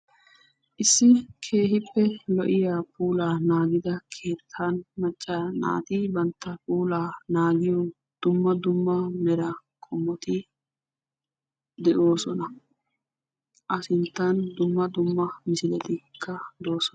issi keehippe lo"iyaa puula naagiyaa keettan macca naati bantta puulaa naagiyoo luxi de'ossona a sinttan dumma dumma misiletikka de'ossona